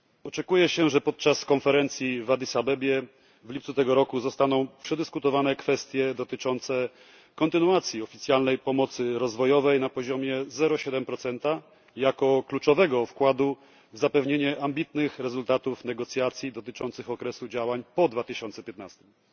Oczekuje się, że podczas konferencji w Addis Abebie w lipcu tego roku zostaną przedyskutowane kwestie dotyczące kontynuacji oficjalnej pomocy rozwojowej na poziomie 0,7 jako kluczowego wkładu w zapewnienie ambitnych rezultatów negocjacji dotyczących okresu działań po 2015 r.